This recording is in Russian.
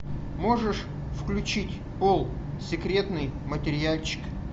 можешь включить пол секретный материальчик